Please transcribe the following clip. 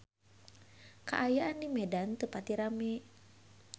Kaayaan di Medan teu pati rame